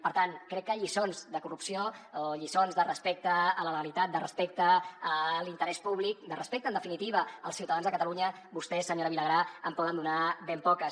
per tant crec que lliçons de corrupció o lliçons de respecte a la legalitat de respecte a l’interès públic de respecte en definitiva als ciutadans de catalunya vostès senyora vilagrà en poden donar ben poques